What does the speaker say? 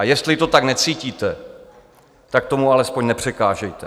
A jestli to tak necítíte, tak tomu alespoň nepřekážejte.